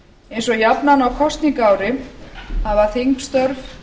eins og jafnan á kosningaári hafa þingstörf